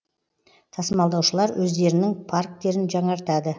тасымалдаушылар өздерінің парктерін жаңартады